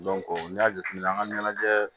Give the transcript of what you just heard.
n'i y'a jateminɛ an ka ɲɛnajɛ